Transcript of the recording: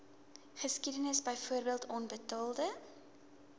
geskiedenis byvoorbeeld onbetaalde